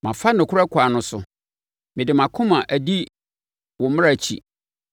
Mafa nokorɛ kwan no so; mede mʼakoma adi wo mmara akyi.